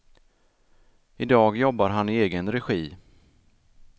Idag jobbar han i egen regi.